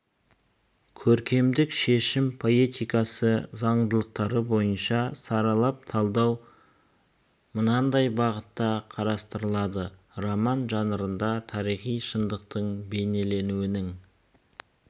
көркемдік шешім поэтикасы заңдылықтары бойынша саралап талдау мынадай бағытта қарастырылды роман жанрында тарихи шындықтың бейнеленуінің